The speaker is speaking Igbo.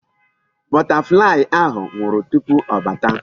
Butterfly ahụ nwụrụ tupu ọ bata.